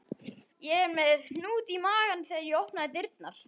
Ég var með hnút í maganum þegar ég opnaði dyrnar.